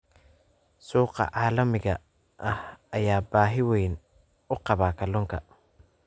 Suuqa caalamiga ah ayaa baahi weyn u qaba kalluunka.